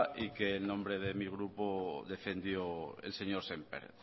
y que en nombre de mi grupo defendió el señor sémper